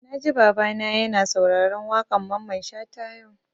Na ji Baba na ya na sauraron waƙan Mamman Shata yau